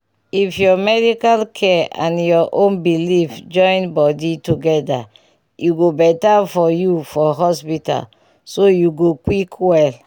if ur medical care and ur own beliefs join body together e go better for you for hospital so u go quick well